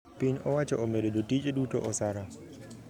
piny owacho omedo jotije duto osara